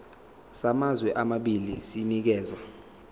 samazwe amabili sinikezwa